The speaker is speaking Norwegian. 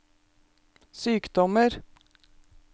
sykdommer